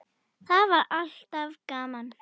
Það var alltaf gaman.